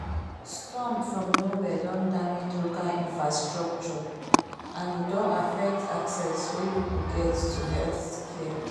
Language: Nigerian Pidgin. storm from nowhere don damage local infrastructure and e don affect access wey people get to healthcare